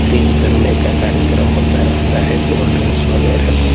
fridge करने का कार्यक्रम होता रहता है कोल्ड ड्रिंक्स वगैरह को--